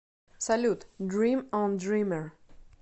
салют дрим он дример